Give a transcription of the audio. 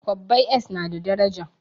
Kwabbai s na da daraja